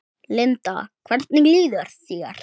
Linda: Hvernig líður þér?